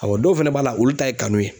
dɔw fana b'a la olu ta ye kanu ye